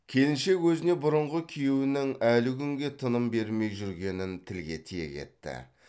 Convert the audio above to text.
келіншек өзіне бұрынғы күйеуінің әлі күнге тыным бермей жүргенін тілге тиек етті